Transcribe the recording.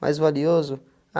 Mais valioso?